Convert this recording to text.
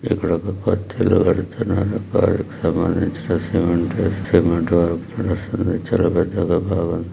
ఇక్కడ ఒక కొత్త ఇల్లు కడుతున్నారు. దానికి సంబంధించిన సిమెంట్ వేస్తున్న సిమెంట్ చాలా పెద్దగా బావుం--